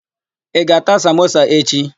Ị ga-ata samosa echi?